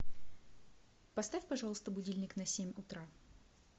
поставь пожалуйста будильник на семь утра